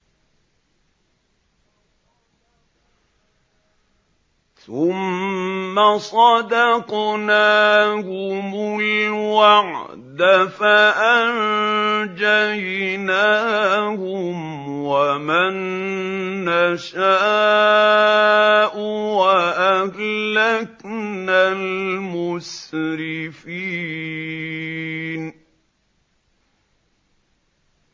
ثُمَّ صَدَقْنَاهُمُ الْوَعْدَ فَأَنجَيْنَاهُمْ وَمَن نَّشَاءُ وَأَهْلَكْنَا الْمُسْرِفِينَ